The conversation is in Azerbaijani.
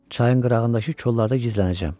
Çayın qırağındakı kollarda gizlənəcəm.